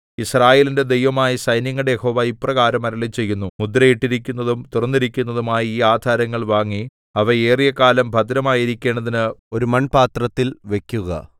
യിസ്രായേലിന്റെ ദൈവമായ സൈന്യങ്ങളുടെ യഹോവ ഇപ്രകാരം അരുളിച്ചെയ്യുന്നു മുദ്രയിട്ടിരിക്കുന്നതും തുറന്നിരിക്കുന്നതുമായ ഈ ആധാരങ്ങൾ വാങ്ങി അവ ഏറിയകാലം ഭദ്രമായിരിക്കേണ്ടതിന് ഒരു മൺപാത്രത്തിൽ വെക്കുക